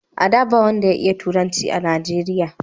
a da, ba wanda ya iya turanci a najeriya